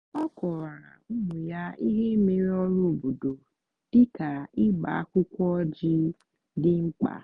ọ kọwara ụmụ ya ihe mere ọrụ obodo dị ka ịgba akwụkwọ ji dị mkpa.